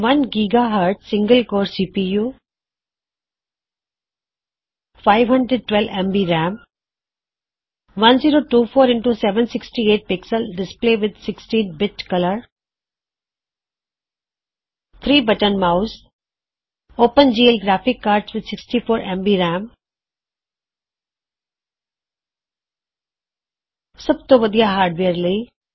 1 ਗ਼ਜ਼ single core CPU 512 MB RAM 1024 x 768 px display with 16 bit colour 3 button mouse open GL graphics card with 64 MB RAM ਸਬ ਤੋ ਵਦੀਆ hardware ਲਈ